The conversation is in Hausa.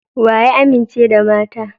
Wa ya amince da mata?